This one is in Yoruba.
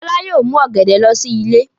Fọlá yóò mú ọ̀gẹ̀dẹ̀ lọ sí ilé.